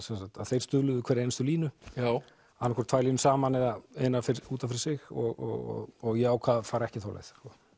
þeir stuðluðu hverja einustu línu annað hvort tvær línur saman eða eina út af fyrir sig og ég ákvað að fara ekki þá leið